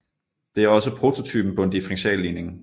Det er også prototypen på en differentialligning